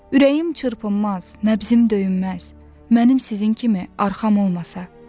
Ürəyim çırpınmaz, nəbzimm döyünməz, mənim sizin kimi arxam olmasa.